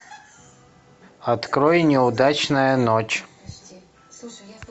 открой неудачная ночь